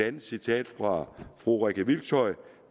et citat fra fru rikke hvilshøj